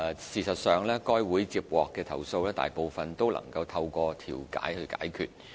事實上該會接獲的投訴，大部分都能透過調停解決。